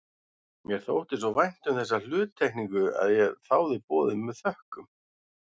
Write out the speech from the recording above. Mér þótti svo vænt um þessa hluttekningu að ég þáði boðið með þökkum.